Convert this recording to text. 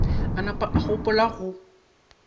a napa a gopola go